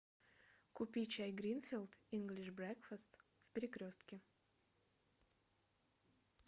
купи чай гринфилд инглиш брекфест в перекрестке